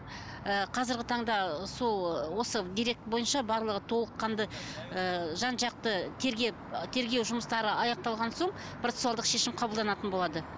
ыыы қазіргі таңда ы сол ыыы дерек бойынша барлығы толыққанды ыыы жан жақты тергеп тергеу жұмыстары аяқталған соң процессуалдық шешім қабылданатын болады